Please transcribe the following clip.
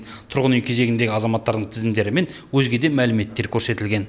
тұрғын үй кезегіндегі азаматтардың тізімдері мен өзге де мәліметтер көрсетілген